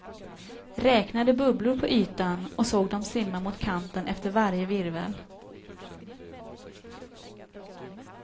Räknade bubblor på ytan och såg dem simma mot kanten efter varje virvel.